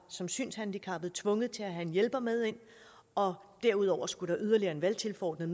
som synshandicappet var tvunget til at have en hjælper med ind og derudover skulle der yderligere en valgtilforordnet